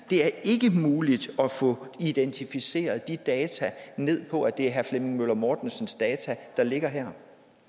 det er ikke muligt at få identificeret de data ned på at det er herre flemming møller mortensens data der ligger her